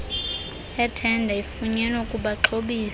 ethenda afunyenwe kubaxhobisi